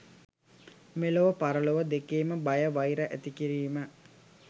මෙලොව පරලොව දෙකේම බය වෛර ඇතිකිරීම